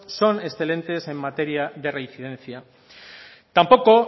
son excelentes en materia de reincidencia tampoco